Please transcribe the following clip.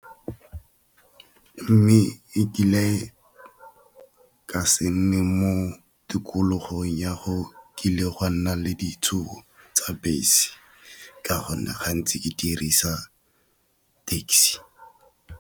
Mme e kile ka se nne mo tikologong ya go kile gwa nna le tsa bese ka gonne gantsi ke dirisa taxi.